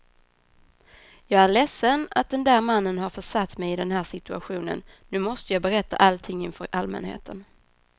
Jag är ledsen att den där mannen har försatt mig i den här situationen, nu måste jag berätta allting inför allmänheten.